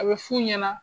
A bɛ f'u ɲɛna